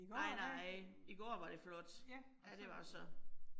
Nej nej, i går var det flot. Ja, det var så